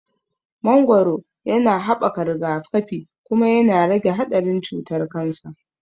Mangoro yana haɓaka rigakafi, kuma yana rage haɗarin cutar kansa.